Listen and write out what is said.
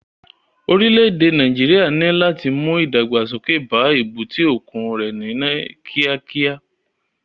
Orílẹ̀ èdè Nàíjíríà ní láti mú ìdàgbàsókè bá èbúté òkun rẹ̀ ní kíákíá.